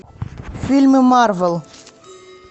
фильмы марвел